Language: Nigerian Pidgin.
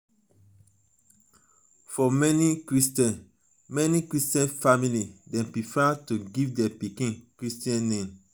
for many christian many christian family dem prefer to give their pikin christian name